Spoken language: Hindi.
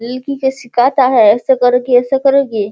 लड़की के सिखाता है ऐसे करके ऐसे करोगी।